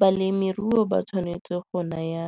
Balemirui ba tshwanetse go naya